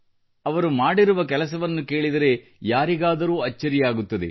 ಅವರು ಮಾಡಿರುವ ಕೆಲಸವನ್ನು ಕೇಳಿದರೆ ಯಾರಿಗಾದರೂ ಅಚ್ಚರಿಯಾಗುತ್ತದೆ